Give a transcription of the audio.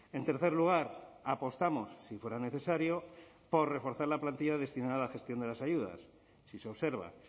en tercer lugar apostamos si fuera necesario por reforzar la plantilla destinada a la gestión de las ayudas si se observa